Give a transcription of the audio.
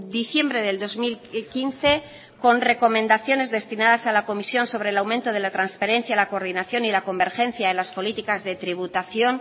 diciembre del dos mil quince con recomendaciones destinadas a la comisión sobre el aumento de la transparencia la coordinación y la convergencia en las políticas de tributación